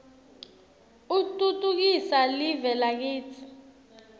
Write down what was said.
utfutfukisa live lakitsi